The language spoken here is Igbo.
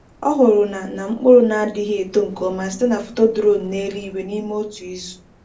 O hụrụ na na mkpụrụ na-adịghị eto nke ọma site na foto drone n’eluigwe n’ime otu izu.